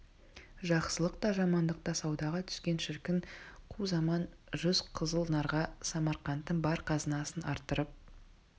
жақсылық та жамандық та саудаға түскен шіркін қу заман жүз қызыл нарға самарқанттың бар қазынасын арттырып